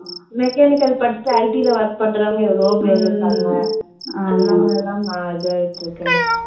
mechanical படிச்சிட்டு IT ல work பண்றவங்க எவ்வளவோ பேரு இருக்காங்க. அந்த மாதிரி எல்லாம் இதா ஆயிட்டு இருக்கு எல்லாம்